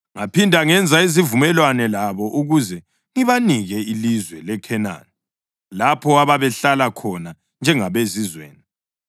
Ngaphinda ngenza isivumelwano labo ukuze ngibanike ilizwe leKhenani lapho ababehlala khona njengabezizweni.